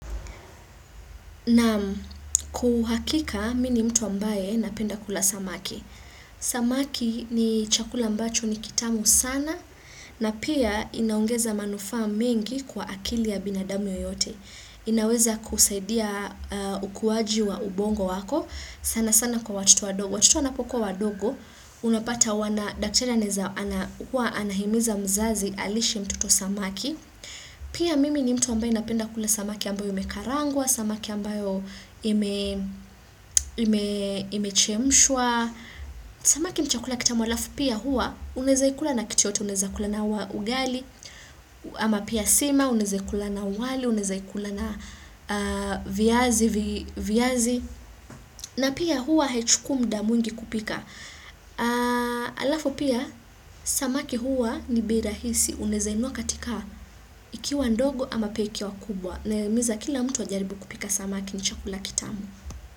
Naam kwa uhakika, mimi ni mtu ambaye napenda kula samaki. Samaki ni chakula ambacho ni kitamu sana, na pia inaongeza manufa mingi kwa akili ya binadami yeyote. Inaweza kusaidia ukuwaji wa ubongo wako, sana sana kwa watoto wandogo. Watoto wanapokua wandogo, unapata wana, daktari anaweza, anahimiza mzazi alishe mtoto samaki. Pia mimi ni mtu ambaye napenda kule samaki ambayo imekarangwa, samaki ambayo imechemshwa Samaki nichakula kitamu halafu pia huwa unawezaikula na kitu yoyote, unaezaikula na ugali ama pia sima, unaezaikula na uwali, unezaikula na viazi na pia huwahaichukui muda mwingi kupika halafu pia samaki huwa ni bei rahisi unawezainunua katika ikiwa ndogo ama pia ikiwa kubwa na himiza kila mtu wajaribu kupika samaki ni chakula kitamu.